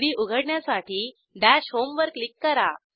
gchem3डी उघडण्यासाठी दश होम वर क्लिक करा